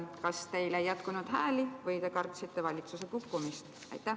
Kas teil ei jätkunud hääli või kartsite valitsuse kukkumist?